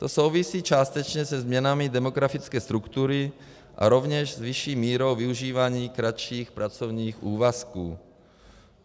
To souvisí částečně se změnami demografické struktury a rovněž s vyšší mírou využívání kratších pracovních úvazků.